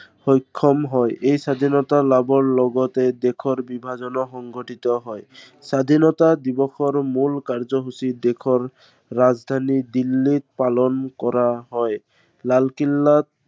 সক্ষম হয়। এই স্বাধীনতা লাভৰ লগতে দেশৰ বিভাজনো সংঘটিত হয়। স্বাধীনতা দিৱসৰ মূল কাৰ্যসূচী দেশৰ ৰাজধানী দিল্লীত পালন কৰা হয়। লালকিল্লাত